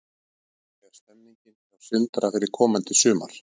Hvernig er stemmingin hjá Sindra fyrir komandi sumar?